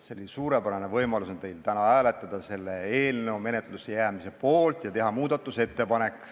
Teil on suurepärane võimalus täna hääletada selle eelnõu menetlusse jäämise poolt ja teha muudatusettepanek.